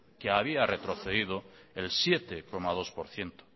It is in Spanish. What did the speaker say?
que había retrocedido el siete coma dos por ciento